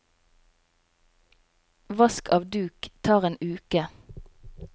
Vask av duk tar en uke.